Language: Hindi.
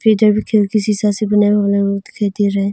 कि शीशा से बनाया हुआ हमें वो दिखाई दे रहा है।